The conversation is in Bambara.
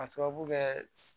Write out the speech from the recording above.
K'a sababu kɛ